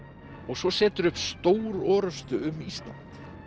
svo seturðu upp stórorrustu um Ísland